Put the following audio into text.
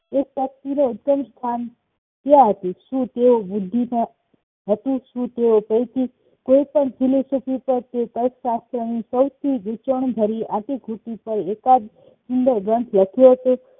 ઉદેશ શું તેઓ બુદ્ધિ નહતું શું તેઓ કોઈથી કોઈપણ સાથે અર્થશાત્ર ની સૌથીગુંચવણો ભરી અતિ-ધૂતી એકાદ પણ ગ્રંથ લખ્યો છે